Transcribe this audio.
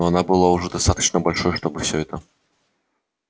но она была уже достаточно большой чтобы все это